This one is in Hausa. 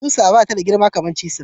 Kusa bata da girma kamar cisir.